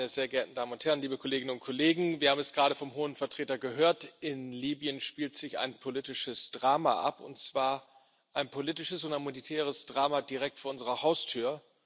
Frau Präsidentin, meine sehr geehrten Damen und Herren, liebe Kolleginnen und Kollegen! Wir haben es gerade vom Hohen Vertreter gehört In Libyen spielt sich ein politisches Drama ab, und zwar ein politisches und humanitäres Drama direkt vor unserer Haustür.